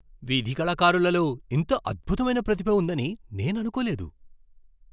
వీధి కళాకారులలో ఇంత అద్భుతమైన ప్రతిభ ఉందని నేను అనుకోలేదు .